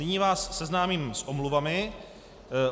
Nyní vás seznámím s omluvami.